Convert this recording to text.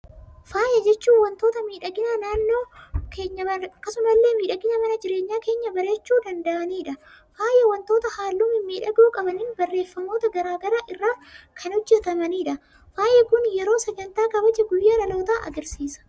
Faaya jechuun, waantota miidhagina naannoo keenyaa akkasuma illee miidhagina mana jireenyaa keenyaa bareechuu danda'anidha. Faayi waantota halluu mimmiidhagoo qaban, barreeffamoota garaagaraa irraa kan hojjetamanidha. Faayi Kun yeroo sagantaa kabaja guyyaa dhalootaa argisiisa.